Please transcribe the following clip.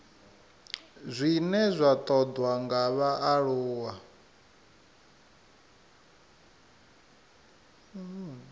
zwine zwa ṱoḓwa nga vhaaluwa